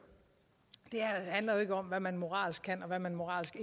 det her handler jo ikke om hvad man moralsk kan og hvad man moralsk